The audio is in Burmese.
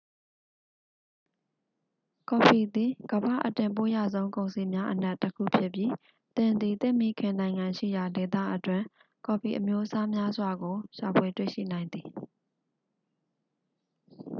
ကော်ဖီသည် ကမ္ဘာ့အတင်ပို့ရဆုံးကုန်စည်များအနက်တစ်ခုဖြစ်ပြီး သင်သည် သင့်မိခင်နိုင်ငံရှိရာဒေသအတွင်း ကော်ဖီအမျိုးအစားများစွာကို ရှာဖွေတွေ့ရှိနိုင်သည်